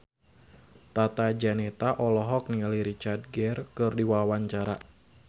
Tata Janeta olohok ningali Richard Gere keur diwawancara